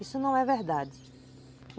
Isso não é verdade.